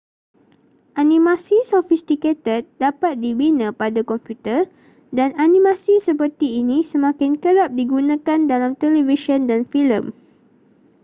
animasi sofistikated dapat dibina pada komputer dan animasi seperti ini semakin kerap digunakan dalam televisyen dan filem